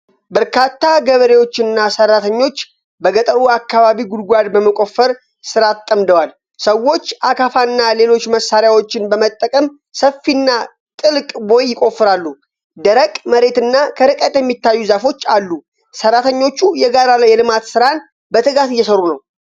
በርካታ ገበሬዎችና ሠራተኞች በገጠሩ አካባቢ ጉድጓድ በመቆፈር ሥራ ተጠምደዋል። ሰዎች አካፋና ሌሎች መሣሪያዎችን በመጠቀም ሰፊና ጥልቅ ቦይ ይቆፍራሉ። ደረቅ መሬትና ከርቀት የሚታዩ ዛፎች አሉ። ሠራተኞቹ የጋራ የልማት ስራን በትጋት እየሠሩ ነው።